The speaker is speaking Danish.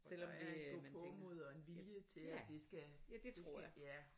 Der er en gåpåmod og en vilje til at det skal det skal ja